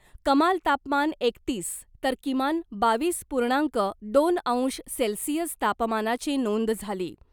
कमाल तापमान एकतीस तर किमान बावीस पूर्णांक दोन अंश सेल्सिअस तापमानाची नोंद झाली .